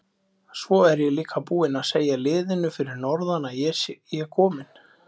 Svo er ég líka búinn að segja liðinu fyrir norðan að ég komi.